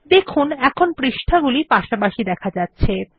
দেখুন এখন পৃষ্ঠা গুলি পাশাপাশি দেখা যাচ্ছে